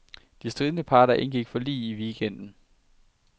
De stridende parter indgik forlig i weekenden.